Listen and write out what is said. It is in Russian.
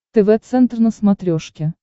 тв центр на смотрешке